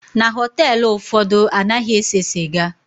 Na họteelụ ụfọdụ, anaghị ese sịga.